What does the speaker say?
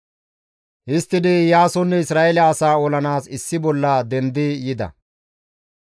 Histtidi Iyaasonne Isra7eele asaa olanaas issi bolla dendi yida.